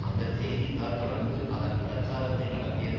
அந்த செய்தி தாள் தொடர்ந்து அதன் பிரசாரத்தை நடத்தியது